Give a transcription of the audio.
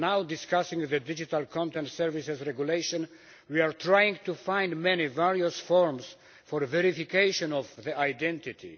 Discussing the digital content services regulation, we are trying to find various forms for the verification of the identity.